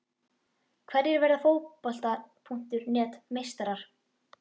Hverjir verða Fótbolta.net meistarar?